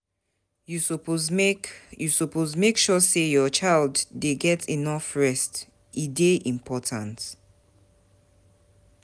You suppose make You suppose make sure say your child dey get enough rest, e dey important.